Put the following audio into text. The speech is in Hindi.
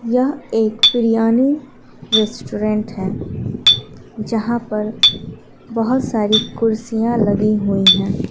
यह एक बिरियानी रेस्टोरेंट है यहां पर बहुत सारी कुर्सियां लगी हुई हैं।